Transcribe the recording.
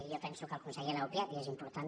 jo penso que el conseller l’ha obviat i és important